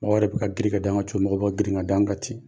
Mɔrɔw yɛrɛ bɛ ka giri ka d''anw ŋa cogo mɔgɔw bɛ ka girin ŋa d'an ka ten.